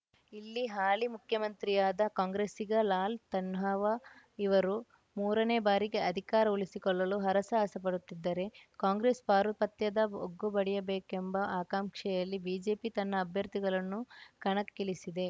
ಇಲ್ಲಿ ಹಾಲಿ ಮುಖ್ಯಮಂತ್ರಿಯಾದ ಕಾಂಗ್ರೆಸ್ಸಿಗ ಲಾಲ್‌ ತನ್ಹಾವ ಇವರು ಮೂರನೇ ಬಾರಿಗೆ ಅಧಿಕಾರ ಉಳಿಸಿಕೊಳ್ಳಲು ಹರಸಾಹಸ ಪಡುತ್ತಿದ್ದರೆ ಕಾಂಗ್ರೆಸ್‌ ಪಾರುಪತ್ಯದ ಬಗ್ಗುಬಡಿಯಬೇಕೆಂಬ ಆಕಾಂಕ್ಷೆಯಲ್ಲಿ ಬಿಜೆಪಿ ತನ್ನ ಅಭ್ಯರ್ಥಿಗಳನ್ನು ಕಣಕ್ಕಿಳಿಸಿದೆ